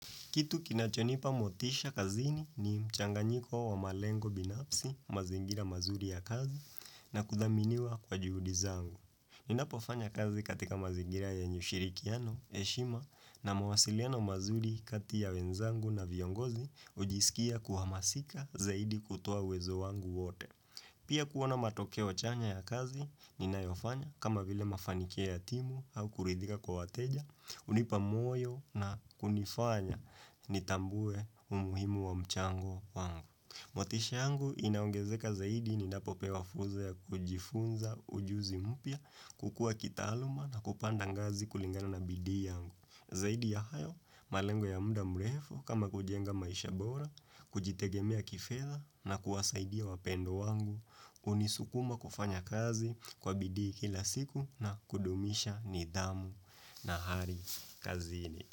Kitu kinachonipa motisha kazini ni mchanganyiko wa malengo binafsi, mazingira mazuri ya kazi na kuthaminiwa kwa juhudi zangu. Ninapo fanya kazi katika mazingira yenye ushirikiano, heshima na mawasiliano mazuri kati ya wenzangu na viongozi hujisikia kuhamasika zaidi kutoa uwezo wangu wote. Pia kuona matokeo chanya ya kazi ni nayofanya kama vile mafanikia ya timu au kuridhika kwa wateja, hunipa moyo na kunifanya nitambue umuhimu wa mchango wangu. Motisha yangu inaongezeka zaidi ninapo pewa fursa ya kujifunza ujuzi mpya, kukua kitaaluma na kupanda ngazi kulingana na bidii yangu. Zaidi ya hayo, malengo ya muda mrefo kama kujenga maisha bora, kujitegemea kifedha na kuwasaidia wapendwa wangu, hunisukuma kufanya kazi kwa bidii kila siku na kudumisha nidhamu. Na hari, kazini.